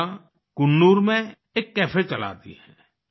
राधिका कून्नूर में एक कैफे चलाती हैं